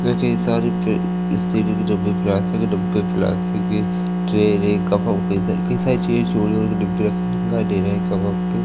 रखी है सारे ट्रे स्टील के डब्बे प्लास्टिक के डब्बे प्लास्टिक की ट्रे रे कप वप कई सारी चीज़ें छोटे-छोटे डिब्बे रखे हुए दिखाई दे रहे हैं कप वप के।